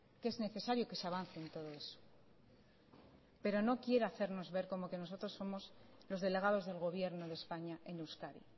que es necesario que se avance en todo eso pero no quiera hacernos ver como que nosotros somos los delegados del gobierno de españa en euskadi